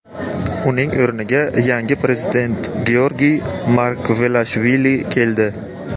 Uning o‘rniga yangi prezident Georgiy Margvelashvili keldi.